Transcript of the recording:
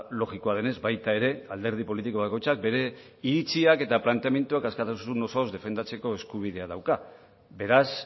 logikoa denez baita ere alderdi politiko bakoitzak bere iritziak eta planteamenduak askatasun osoz defendatzeko eskubidea dauka beraz